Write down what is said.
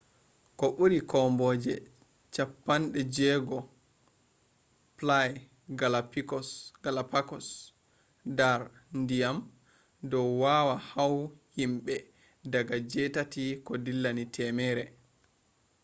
ko buri komboje cappandejigo ply galapagosdar ndyan dou wawah hua himbe daga jitati ko dillani temere